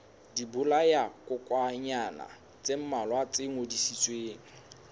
dibolayakokwanyana tse mmalwa tse ngodisitsweng